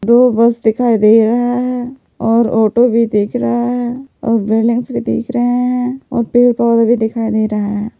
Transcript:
दो बस दिखाई दे रहा है और ऑटो भी दिख रहा है और बिल्डिंग्स भी दिख रहे हैं और पेड़-पौधे भी दिखाई दे रहा है।